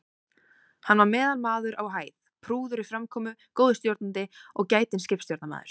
Hann var meðalmaður á hæð, prúður í framkomu, góður stjórnandi og gætinn skipstjórnarmaður.